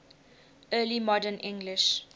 early modern english